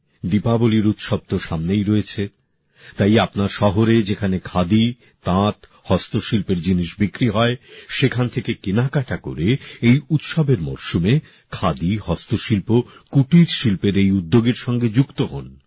দীপাবলির উৎসব তো সামনেই রয়েছে তাই আপনার শহরে যেখানে খাদি তাঁত হস্তশিল্পের জিনিস বিক্রি হয় সেখান থেকে কেনাকাটা করে এই উৎসবের মরসুমে খাদি হস্তশিল্প কুটির শিল্পের এই উদ্যোগের সঙ্গে যুক্ত হোন